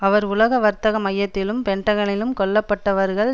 அவர் உலக வர்த்தக மையத்திலும் பென்டகனிலும் கொல்ல பட்டவர்கள்